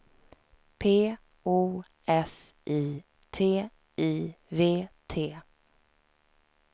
P O S I T I V T